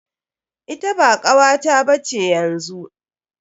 Ita ba kawata ba ce yanzu.